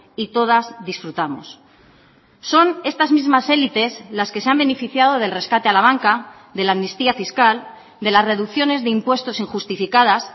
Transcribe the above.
y todas disfrutamos son estas mismas élites las que se han beneficiado del rescate a la banca de la amnistía fiscal de las reducciones de impuestos injustificadas